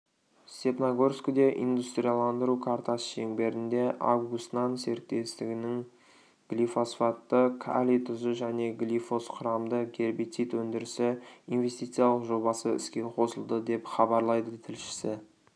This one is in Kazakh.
степногорскіде индустрияландыру картасы шеңберінде август-нан серіктестігінің глифосфатты калий тұзы және глифосқұрамды гербицид өндірісі инвестициялық жобасы іске қосылды деп хабарлайды тілшісі